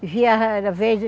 Vivia, às vezes...